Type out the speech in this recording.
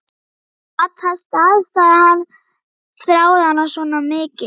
Gat það staðist að hann þráði hana svona mikið?